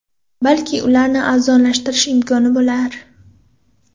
Balki ularni arzonlashtirish imkoni bo‘lar.